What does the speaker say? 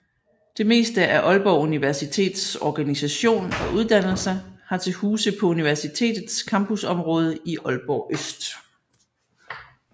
Det meste af Aalborg Universitets organisation og uddannelser har til huse på universitetets campusområde i Aalborg Øst